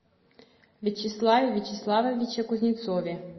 вячеславе вячеславовиче кузнецове